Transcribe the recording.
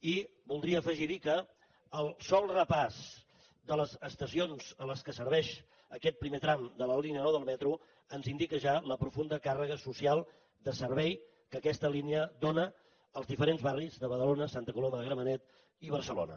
i voldria afegirhi que el sol repàs de les estacions a les que serveix aquest primer tram de la línia nou del metro ens indica ja la profunda càrrega social de servei que aquesta línia dóna als diferents barris de badalona santa coloma de gramanet i barcelona